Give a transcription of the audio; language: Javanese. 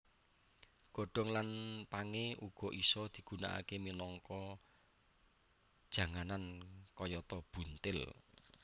Godhong lan pangé uga isa digunakaké minangka janganan kayata buntil